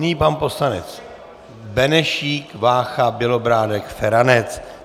Nyní pan poslanec Benešík, Vácha, Bělobrádek, Feranec.